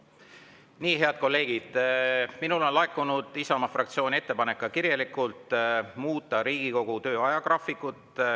Nii, head kolleegid, minule on ka kirjalikult laekunud Isamaa fraktsiooni ettepanek muuta Riigikogu töö ajagraafikut.